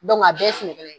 a bɛɛ ye sɛnɛkɛla ye